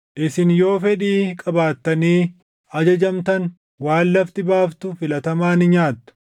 Isin yoo fedhii qabaattanii ajajamtan, waan lafti baaftu filatamaa ni nyaattu;